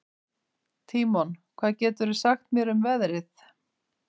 Tímon, hvað geturðu sagt mér um veðrið?